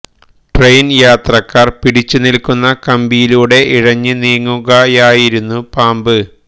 ട്രെയിനില് യാത്രക്കാര് പിടിച്ചു നില്ക്കുന്ന കമ്പിയിലൂടെ ഇഴഞ്ഞ് നീങ്ങുകയായിരുന്നു പാമ്പ്